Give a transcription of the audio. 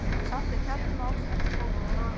Samt er kjarni máls ekki flókinn.